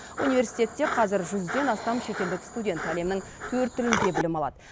университетте қазір жүзден астам шетелдік студент әлемнің төрт тілінде білім алады